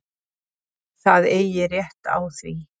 Það eigi rétt á því.